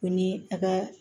Ko ni a ka